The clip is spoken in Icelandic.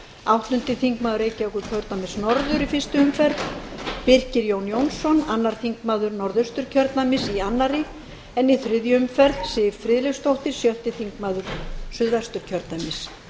áttundi þingmaður reykjavíkurkjördæmis norður í fyrstu umferð birkir jón jónsson annar þingmaður norðausturkjördæmis í annarri en í þriðju umferð siv friðleifsdóttir sjötti þingmaður suðvesturkjördæmis